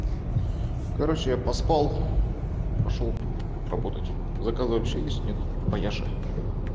короче я поспал пошёл работать заказы вообще есть нет по яше